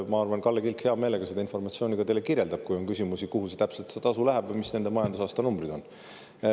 Ma arvan, et Kalle Kilk hea meelega seda teile kirjeldab, kui on küsimusi, kuhu täpselt see tasu läheb ja mis nende majandusaasta numbrid on.